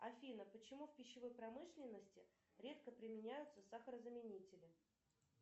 афина почему в пищевой промышленности редко применяются сахарозаменители